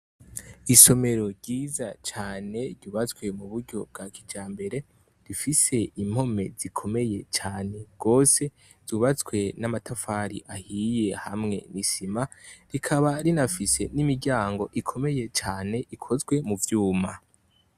Isomero ryiza cane ryubatswe mu buryo bwa kijambere, rifise impome zikomeye cane gose zubatswe n'amatafari ahiye hamwe n'isima, rikaba rinafise n'imiryango ikomeye cane ikozwe mu vyuma.